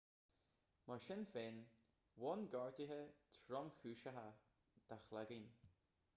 mar sin féin bhain gortuithe tromchúiseacha dá chloigeann